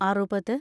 അറുപത്